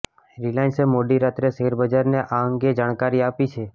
રિલાયન્સે મોડી રાત્રે શેરબજારને આ અંગે જાણકારી આપી છે